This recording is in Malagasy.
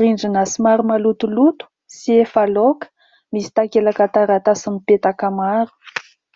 Rindrina somary malotoloto sy efa laoka, misy takelaka taratasy mipetaka maro.